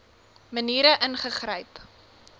maniere ingegryp